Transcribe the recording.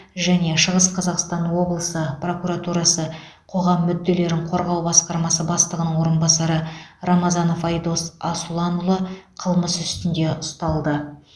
және шығыс қазақстан облысы прокуратурасы қоғам мүдделерін қорғау басқармасы бастығының орынбасары рамазанов айдос асұланұлы қылмыс үстінде ұсталды